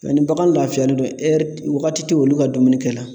Nka ni bagan lafiyalen don ɛri wagati te olu ka dumunikɛ la.